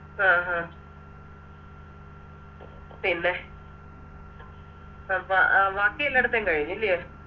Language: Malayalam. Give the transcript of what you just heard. അഹ് ആഹ് പിന്നെ അപ്പ ബാക്കിയെല്ലാട്ത്തെയും കഴിഞ്ഞ് ല്ലെയോ